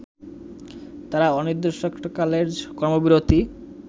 তারা অনির্দিষ্টকালের কর্মবিরতি